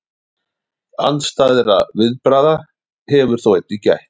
Andstæðra viðbragða hefur þó einnig gætt.